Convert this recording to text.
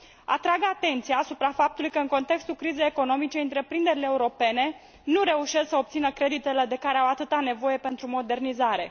Atrag atenția asupra faptului că, în contextul crizei economice, întreprinderile europene nu reușesc să obțină creditele de care au atâta nevoie pentru modernizare.